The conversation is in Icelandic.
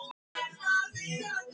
Katharina, hækkaðu í græjunum.